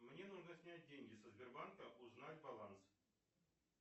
мне нужно снять деньги со сбербанка узнать баланс